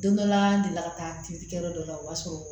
Don dɔ la n delila ka taa kilikɛyɔrɔ dɔ la o b'a sɔrɔ